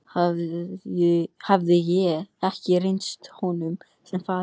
Hafði ég ekki reynst honum sem faðir?